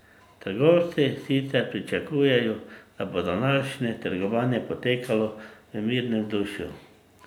Trgovci sicer pričakujejo, da bo današnje trgovanje potekalo v mirnem vzdušju.